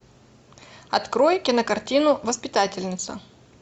открой кинокартину воспитательница